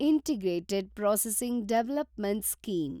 integrated processing development scheme